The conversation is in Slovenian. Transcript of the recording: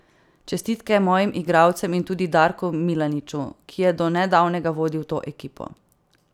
Čestitke mojim igralcem in tudi Darku Milaniču, ki je do nedavnega vodil to ekipo.